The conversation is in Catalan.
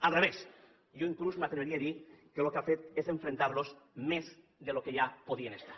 al revés jo inclús m’atreviria a dir que el que ha fet és enfrontar los més del que ja podien estar